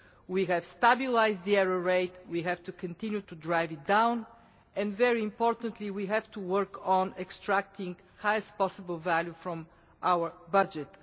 We have stabilised the error rate we have to continue to drive it down and, very importantly, we have to work on extracting the highest possible value from our budget.